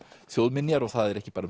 þjóðminjar og það er ekki bara um